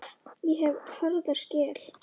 Ég hef harða skel.